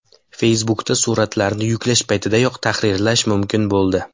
Facebook’da suratlarni yuklash paytidayoq tahrirlash mumkin bo‘ldi.